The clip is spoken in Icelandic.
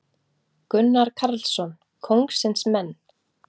Gunnar Karlsson: Kóngsins menn.